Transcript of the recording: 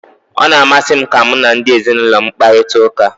Ọ na-amasị m ka mụ na ndị ezinụlọ m ị kparita ụka.